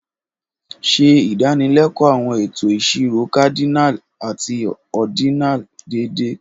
Ṣe ìdánilẹ́kọ̀ọ́ àwọn ètò ìṣirò cardinal àti ordinal déédéé.